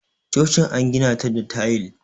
chocin an gina ta da tayil